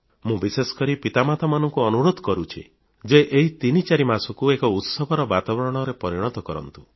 ମୁଁ ବିଶେଷକରି ପିତାମାତାଙ୍କୁ ଅନୁରୋଧ କରୁଛି ଯେ ଏହି ତିନି ଚାରି ମାସକୁ ଏକ ଉତ୍ସବର ବାତାବରଣରେ ପରିଣତ କରନ୍ତୁ